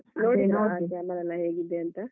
ಹೇಗಿದೆ ಅಂತ?